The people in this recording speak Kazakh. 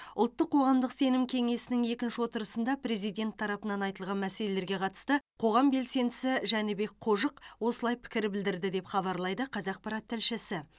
ұлттық қоғамдық сенім кеңесінің екінші отырысында президент тарапынан айтылған мәселелерге қатысты қоғам белсендісі жәнібек қожық осылай пікір білдірді деп хабарлайды қазақпарат тілшісі